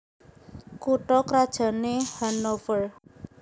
Kutha krajané Hannover